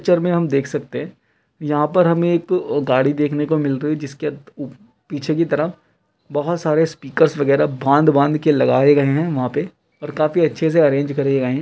Picture में हम देख सकते है यहाँ पर हमें एक गाड़ी देखने को मिलते हुई जिसपे पीछे की तरह बहुत सारे स्पीकर्स वगेरा बांध-बांध के लगाए गए है वहां पे और काफी अच्छे से अरेंज कर गए हैं।